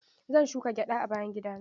Zan shuka gyada a bayan gida na.